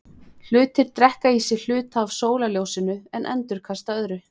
Hlutir drekka í sig hluta af sólarljósinu en endurkasta öðru.